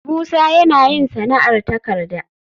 Musa yana yin sana'ar takarda